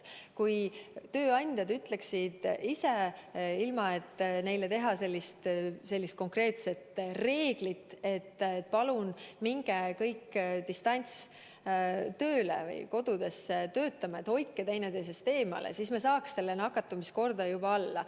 Kui tööandjad ütleksid ise, ilma et neile kehtestada konkreetset reeglit, et palun minge kõik distantstööle, töötage kodudes, hoidke üksteisest eemale, siis me saaks nakatumiskordaja alla.